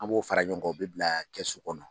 An b'o fara ɲɔgɔn kan u bɛ bila kɛsu kɔnɔ.